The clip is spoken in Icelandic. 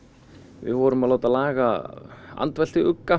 við vorum að láta laga